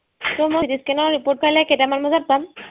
so মই CT scan ৰ report কাইলে কেইটামান বজাত পাম